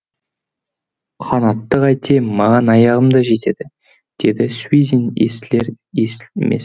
қанатты қайтем маған аяғым да жетеді деді суизин естілер естілмес